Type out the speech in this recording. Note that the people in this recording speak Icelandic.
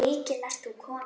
Já, mikil ert þú kona.